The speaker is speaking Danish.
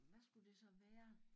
Hvad skulle det så være